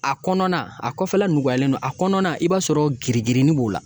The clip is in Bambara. A kɔnɔna a kɔfɛla nɔgɔyalen don a kɔnɔna i b'a sɔrɔ girin girin b'o la